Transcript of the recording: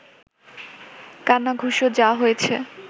কানাঘুষো যা হয়েছে